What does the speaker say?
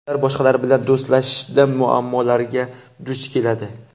Ular boshqalar bilan do‘stlashishda muammolarga duch keladi.